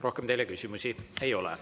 Rohkem teile küsimusi ei ole.